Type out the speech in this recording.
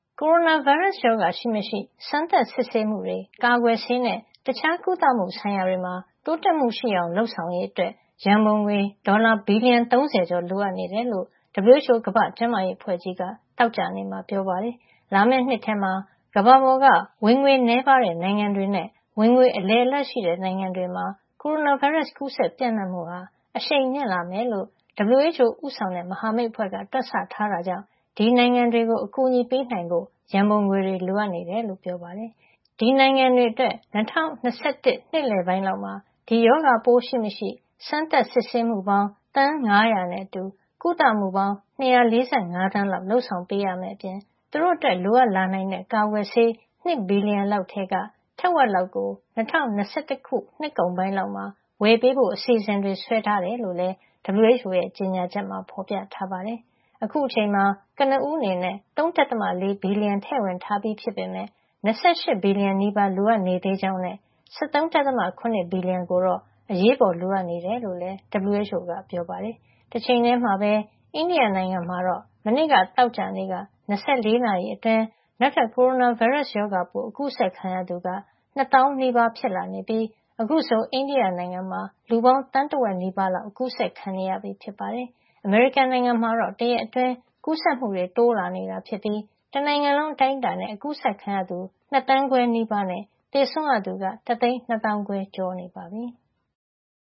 ကိုရိုနာဗိုင်းရပ်စ်ရောဂါ ရှိမရှိ စမ်းသပ်စစ်ဆေးမှုတွေ၊ ကာကွယ်ဆေးနဲ့ တခြားကုသမှုဆိုင်ရာတွေမှာ တိုးတက်မှုရှိအောင် လုပ်ဆောင်ရေး အတွက် ရန်ပုံငွေ ဒေါ်လာ ဘီလီယံ ၃၀ ကျော် လိုအပ်နေတယ်လို့ WHO ကမ္ဘာ့ကျန်းမာရေး အဖွဲ့ ကြီးက သောကြာနေ့က ပြောပါတယ်။ လာမယ့်နှစ် ထဲမှာ ကမ္ဘာပေါ်က ဝင်ငွေနည်းပါး တဲ့ နိုင်ငံတွေနဲ့ ဝင်ငွေ အလယ်အလတ်ရှိနိုင်ငံတွေမှာ ကိုရိုနာဗိုင်းရပ်စ် ကူးစက်ပျံ့နှံ့မှု အရှိန်မြင့်လာမယ်လို့ WHO ဦးဆောင်တဲ့ မဟာမိတ်အဖွဲ့က တွက်ဆထားတာကြောင့် ဒီနိုင်ငံတွေကို အကူအညီပေးနိုင်ဖို့ ရန်ပုံငွေ လိုအပ်နေတယ်လို့ ပြောပါတယ်။ ဒီနိုင်ငံတွေ အတွက် ၂၀၂၁ နှစ်လည်ပိုင်းလောက်မှာ ဒီရောဂါပိုးရှိမရှိ Test စမ်းသပ်မှုပေါင်း သန်း ၅၀၀ နဲ့ ကုသမှုပေါင်း ၂၄၅ သန်း လုပ်ဆောင်ပေးရမယ့်အပြင် သူတို့အတွက် လိုအပ်လာနိုင်တဲ့ ကာကွယ်ဆေး ၂ ဘီလျံလောက်ထဲက ထက်ဝက်လောက်ကို ၂၀၂၁ နှစ်ကုန်ပိုင်းမှာ ဝယ်ပေးဖို့ အစီအစဉ်ဆွဲထားကြောင်း လည်း WHO ရဲ့ ကြေညာချက်မှာ ဖေါ်ပြထားပါတယ်။ အခုအချိန်မှာ ကနဦးအနေနဲ့ ၃.၄ ဘီလီယံ ထည့်ဝင်ထားပြီး ဖြစ်ပေမယ့် ၂၈ ဘီလျံနီးပါး လိုအပ်နေသေးကြောင်းနဲ့ ၁၃.၇ ဘီလီယံ ကိုတော့ အရေးပေါ်လိုအပ်နေတယ်လို့လည်း WHO က ပြောပါတယ်။ တချိန်ထဲမှာပဲ အိန္ဒိယနိုင်ငံမှာတော့ မနေ့ကသောကြာနေ့က ၂၄ နာရီအတွင်း နောက်ထပ် ကိုရိုနာဗိုင်းရပ်စ် ရောဂါပိုး အကူးစက်ခံရသူက ၂သောင်းနီးပါး (၁၇,၂၉၆) ဖြစ်လာနေပြီး အခုဆို အိန္ဒိယနိုင်ငံမှာ လူပေါင်း သန်းတဝက်နီးပါး လောက် အကူးစက်ခံနေရပြီဖြစ်ပါတယ်။ အမေရိကန်နိုင်ငံမှာတော့ တရက်အတွင်း ကူးစက်မှုတွေ တိုးလာနေတာ ဖြစ်ပြီး တနိုင်ငံလုံး အတိုင်းအတာနဲ့အကူးစက်ခံရသူ ၂ သန်း ခွဲနီးပါးနဲ့ သေဆုံးရသူက တသိန်း ၂ သောင်းခွဲ ကျော် ရှိနေပါပြီ။